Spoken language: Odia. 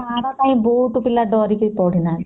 ହଁ ମାଡ ପାଇଁକି ବହୁତ ପିଲା ଡ଼ରିକି ପଢି ନାହାନ୍ତି